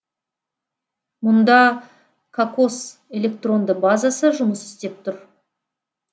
мұнда кокос электронды базасы жұмыс істеп тұр